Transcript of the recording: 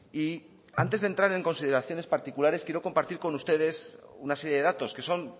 y antes de entrar en consideraciones particulares quiero compartir con ustedes una serie de datos que son